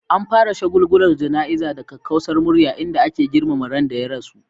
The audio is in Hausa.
An fara shagulgulan jana'izar da kakkausar murya, inda ake girmama ran da ya rasu.